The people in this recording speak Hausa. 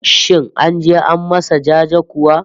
Shin an je an masa jaje kuwa?